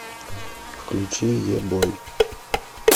включи е бой